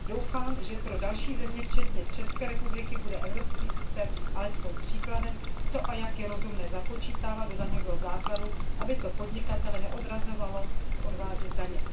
Doufám, že pro další země, včetně České republiky, bude evropský systém alespoň příkladem, co a jak je rozumné započítávat do daňového základu, aby to podnikatele neodrazovalo odvádět u nás daně.